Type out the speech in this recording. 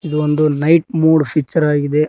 ಇದೊಂದು night mood future ಆಗಿದೆ.